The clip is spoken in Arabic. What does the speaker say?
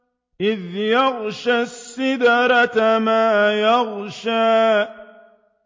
إِذْ يَغْشَى السِّدْرَةَ مَا يَغْشَىٰ